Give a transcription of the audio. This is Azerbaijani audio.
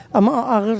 Amma ağırdır.